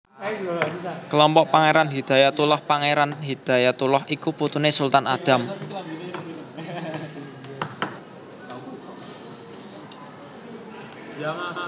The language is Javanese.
Kelompok Pangéran Hidayatullah Pangéran Hidayatullah iku putuné Sultan Adam